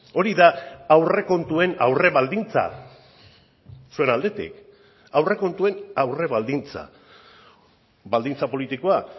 hori da aurrekontuen aurrebaldintza zuen aldetik aurrekontuen aurrebaldintza baldintza politikoa